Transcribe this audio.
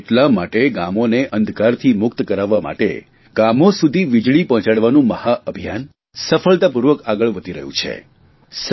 અને એટલા માટે ગામોને અંધકારથી મુક્ત કરાવવા માટે ગામો સુધી વીજળી પહોંચાડવાનું મહાઅભિયાન સફળતાપૂર્વક આગળ વધી રહ્યું છે